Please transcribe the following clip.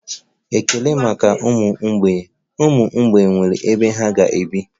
Ekele maka ụmụ mgbei, ụmụ mgbei nwere ebe ha ga-ebi